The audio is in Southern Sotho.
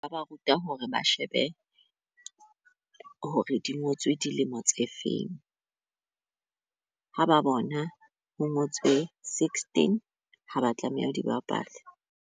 Ba ba ruta hore ba shebe hore di ngotswe dilemo tse feng , ha ba bona ho ngotswe sixteen haba tlameha ho di bapala.